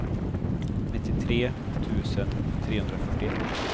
nittiotre tusen trehundrafyrtioett